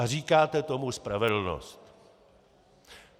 A říkáte tomu spravedlnost.